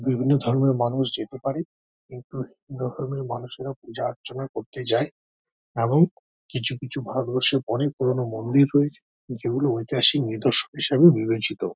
বিভিন্ন ধরণের মানুষ যেতে পারে। বিভিন্ন ধরণের মানুষেরা পূজা অর্চনা করছে যায় এবং কিছু কিছু ভারতবর্ষে অনেক পুরোনো মন্দিন রয়েছে যেগুলো ঐতিহাসিক নিদর্শন হিসাবে পরিচিত।